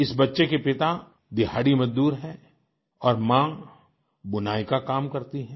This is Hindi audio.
इस बच्चे के पिता दिहाड़ीमज़दूर हैं और माँ बुनाई का काम करती हैं